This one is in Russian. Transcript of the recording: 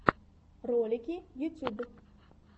ролики ютюб